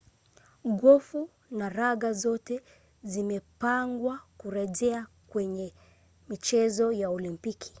gofu na raga zote zimepangwa kurejea kwenye michezo ya olimpiki